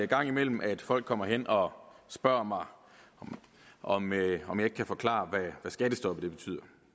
gang imellem at folk kommer hen og spørger mig om jeg om jeg kan forklare hvad skattestoppet betyder